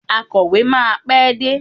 Akọ̀wé máa pé dé.